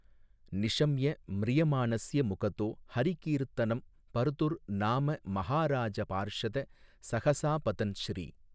நிஷம்ய ம்ரியமாணஸ்ய முகதோ ஹரி கீர்த்தனம் பர்துர் நாம மஹாராஜ பார்ஷத ஸஹஸாபதன் ஸ்ரீ.